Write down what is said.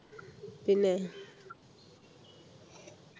പിന്നെ